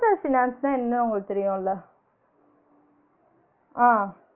Personal finance ன்னா என்ன ஒங்களுக்கு தெரியும்ல ஆஹ்